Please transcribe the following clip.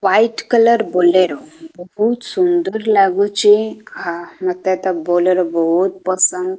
White colour Bolero ଓ ବହୁତ ସୁନ୍ଦର ଲାଗୁଚି। ମୋତେତ ବୋଲେରୋ ବହୁତ ପସନ୍ଦ।